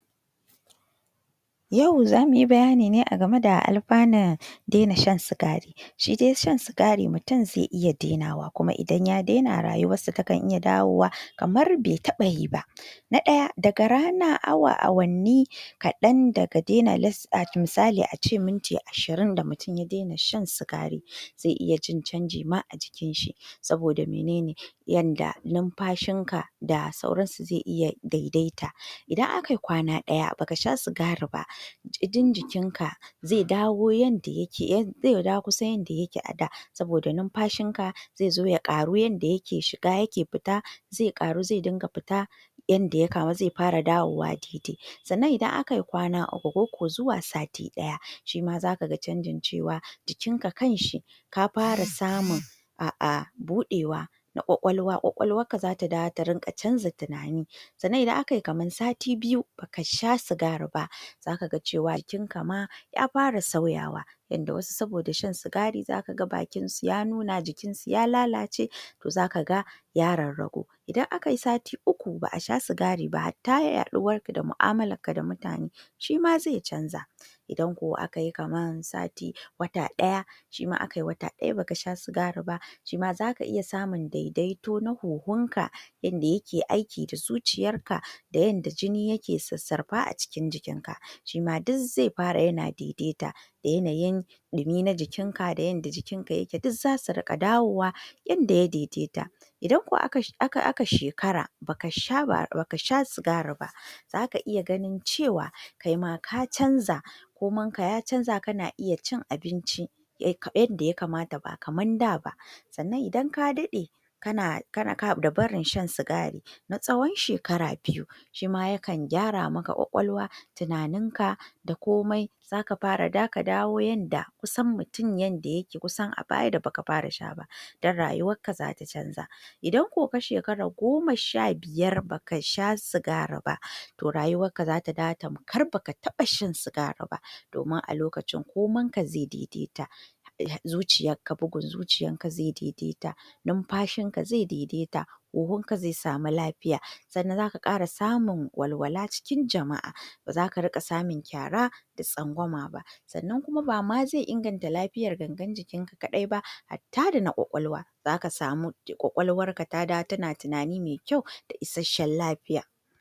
Yau zamuyi bayani ne agame da alfanun daina shan sigari Shi dai shan sigari mutum zai iya dainawa kuma idan ya daina rayuwar sa takan iya dawowa kamar bai taɓa yi ba Na daya daga ranar awa wanni kaɗan daga dainawa misali ace Minti ashirin daga mutum ya daina shan sigari zai iya jin canji ma a jikin shi Saboda menene yanda numfashin ka da sauran su zai iya daidaita Idan akayi kwana daya baka sha sigari ba jini ka zai dawo kaman yanda yake zai dawo kusan yanda yake a da Saboda numfashin ka zai ƙaru yanda yake shiga yake fita zai ƙaru zai dinga fita ta yanda ya samu zai yinga dawowa daidai kaman idan akayi kwana uku ko ko zuwa sati ɗaya shima zakaga jikinka canjin cewa jikin ka kanshi ka fara samu A’a budewar kwakwalwarka, kwakwalwarka zata dawo taringa canza tunani Sanna idan akayi kaman sati biyu baka sha sigari ba zaka ga cewa bakinkama ya fara sauyawa yanda wasu saboda shan sigari zakaga bakinsu ya nuna jikin su ya lalace zakaga ya rarragu Idan akayi sati uku ba’a sha sigari ba hatta yaɗuwarka da mu’amalar ka da mutane shima zai canza Idan ko akayi kaman wata daya idan ko akayi wata daya baka sha sigari ba shima zaka iya samu daidaito na huhunka dake aiki da zuciyarka da yanda jini yake sassarfa a cikin jikin ka shima dai zai fara yana daidaita da yanayin dumin jikinka da yanda jikin ka yake duk zasu rinka dawowa yanda ya daidaita. Idan ko aka shekara baka sha ba baka sha sigari ba zaka iya ganin cewa kaima ka canza koman ka ya canza kana iya cin abinci yanda ya kamata ba kaman daba Sannan idan ka daɗe kana da barin shan sigari na tsawon shekara biyu shima yakan gyara maka ƙwaƙwalwa tunaninka da komai zaka fara zaka dawo yanda kusan mutum yanda yake kusan abaya da baka fara sha ba don rayuwan ka zata canza Idan ko ka sheraka goma sha biyar baka sha sigari ba toh rayuwarka zata dawo tamkar baka taba shan sigari ba domin a lokacin koman ka zai daidaita bugun zuciyarka zai daidaita numfashin ka zai daidaita huhunka zai samu lafiya sannan zaka ƙara samun walwala cikin jama’a bazaka rinƙa samun kyara da tsangwama ba. Sannan kuma bama zai inganta lafiyar gangar jikin ka kaɗai ba harta dana ƙwaƙwalwa zaka samu ƙwaƙwalwarka ta dawo tana tunani mai kyau da isasshen lafiya